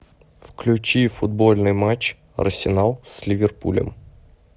включи футбольный матч арсенал с ливерпулем